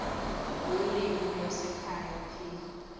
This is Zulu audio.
ulimi lwasekhaya p